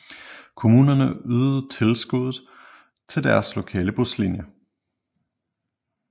Kommunerne ydede tilskud til deres lokale buslinjer